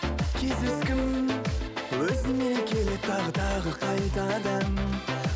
кездескім өзіңменен келеді тағы тағы қайтадан